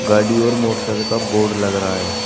गाड़ी और मोटरसाइकिल का बोर्ड लग रहा है।